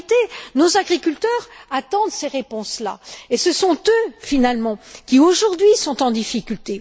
En réalité, nos agriculteurs attendent ces réponses là et ce sont eux, finalement, qui, aujourd'hui, sont en difficulté.